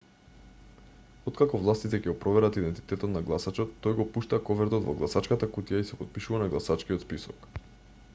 откако властите ќе го проверат идентитетот на гласачот тој го пушта ковертот во гласачката кутија и се потпишува на гласачкиот список